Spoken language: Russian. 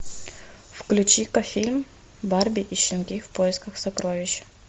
включи ка фильм барби и щенки в поисках сокровищ